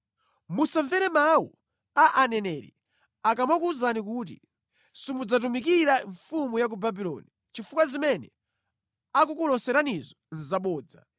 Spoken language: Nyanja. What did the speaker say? Musamvere mawu a aneneri akamakuwuzani kuti, ‘Simudzatumikira mfumu ya ku Babuloni,’ chifukwa zimene akukuloseranizo nʼzabodza.